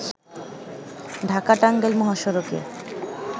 ঢাকা-টাঙ্গাইল মহাসড়কে